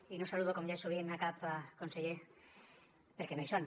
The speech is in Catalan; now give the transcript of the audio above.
i no saludo com ja és habitual cap conseller perquè no hi són